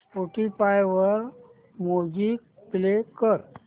Spotify वर music play कर